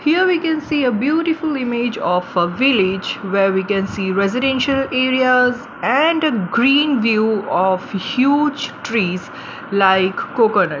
here we can see a beautiful image of a village where we can see residential areas and a green view of huge trees like coconut.